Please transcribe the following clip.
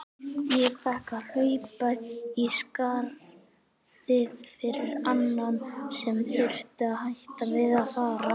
Ég fékk að hlaupa í skarðið fyrir annan sem þurfti að hætta við að fara.